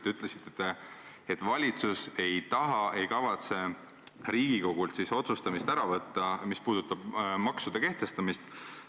Te ütlesite, et valitsus ei taha ega kavatse Riigikogult otsustamist ära võtta, mis puudutab maksude kehtestamist.